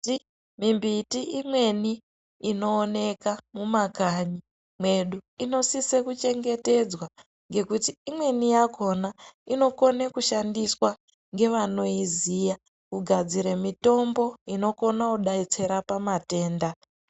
Mimbiti imweni inooneka mumakanyi mwedu, inosise kuchengetedzwa, ngekuti imweni yakhona inokone kushandiswa ngevanoiziya kugadzire mitombo inokona kudetsera pamatenda.